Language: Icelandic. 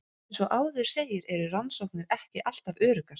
Eins og áður segir eru rannsóknir ekki alltaf öruggar.